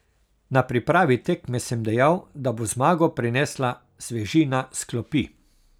Na pripravi tekme sem dejal, da bo zmago prinesla svežina s klopi.